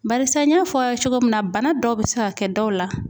Barisa n y'a fɔ aw ye cogo min na bana dɔw be se ka kɛ dɔw la